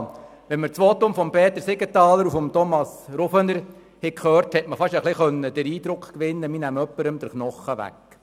Während den Voten von Peter Siegenthaler und Thomas Rufener konnte man beinahe den Eindruck gewinnen, man nehme jemandem den Knochen weg.